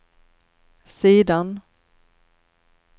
sidan